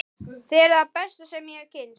Þið eruð það besta sem ég hef kynnst.